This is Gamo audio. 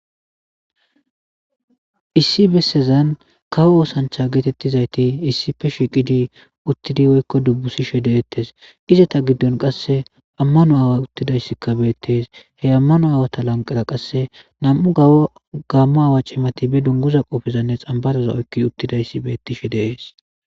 Issi bessezan kawo oosancha geetettizayti issife shiqidi uttidi woykko dubbusishe deettes izata giddon qasse ammano aawa uttidayssikka beettees he ammano aawata lanqara qass nam'u gammo aawa cimati be dunguza qoofezanne xambaraza oykki uttidayssi beettishe dees.